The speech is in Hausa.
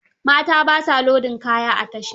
Mata ba sa lodin kaya a tasha.